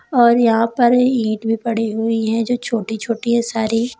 और यहां पर ईंट भी पड़ी हुई हैं जो छोटी छोटी हैं सारी।